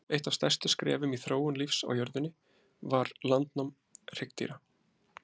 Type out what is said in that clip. Eitt af stærstu skrefum í þróun lífs á jörðunni var landnám hryggdýra.